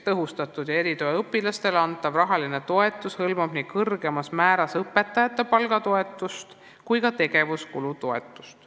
Tõhustatud tuge ja erituge vajavatele õpilastele suunatud rahaline toetus hõlmab nii kõrgema määra kohaselt arvutatud õpetajate palgatoetust kui ka tegevuskulu toetust.